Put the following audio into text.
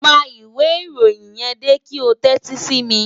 Pa ìwé ìròyìn yẹn dé kí o tẹ́tí sí mi